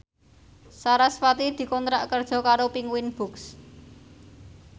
sarasvati dikontrak kerja karo Penguins Books